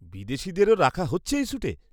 -বিদেশীদেরও রাখা হচ্ছে এই শ্যুটে?